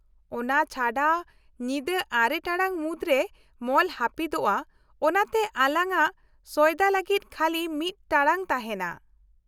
- ᱚᱱᱟ ᱪᱷᱟᱰᱟ, ᱧᱤᱫᱟᱹ ᱟᱨᱮ ᱴᱟᱲᱟᱝ ᱢᱩᱫᱽᱨᱮ ᱢᱚᱞ ᱦᱟᱹᱯᱤᱫᱚᱜᱼᱟ ᱚᱱᱟᱛᱮ ᱟᱞᱟᱝᱟᱜ ᱥᱚᱭᱫᱟ ᱞᱟᱹᱜᱤᱫ ᱠᱷᱟᱞᱤ ᱢᱤᱫ ᱴᱟᱲᱟᱝ ᱛᱟᱦᱮᱱᱟ ᱾